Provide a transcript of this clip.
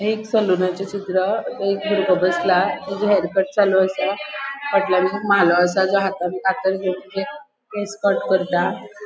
हे एक सलूनाचे चित्र थय एक बुर्गो बसला ताचे हेरकट चालू असा फाटल्यान म्हालो असा जो हातान कातर घेवन केस कट करता.